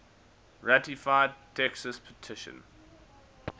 ratified texas petition